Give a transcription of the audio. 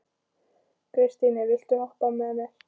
Kristine, viltu hoppa með mér?